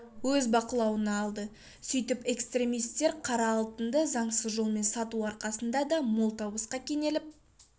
өз бақылауына алды сөйтіп экстремистер қара алтынды заңсыз жолмен сату арқасында да мол табысқа кенеліп